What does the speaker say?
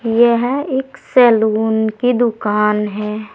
यह एक सलून की दुकान है।